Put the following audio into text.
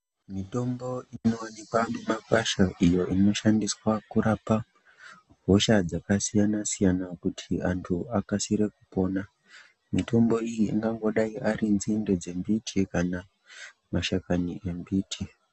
Mitombo inowanikwa mumakwasha iyo inoshandiswa kurapa hosha dzakasiyana siyana kuti antu akasire kupona mitombo iyi ingadai dziri nzinde dzemiti kana mashakani embiti.